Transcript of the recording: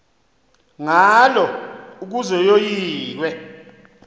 ngalo ukuze yoyikwe